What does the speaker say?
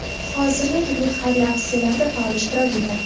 Hozirda turli xayriya aksiyalarida faol ishtirok etadi.